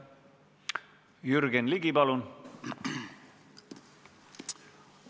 Jürgen Ligi, palun!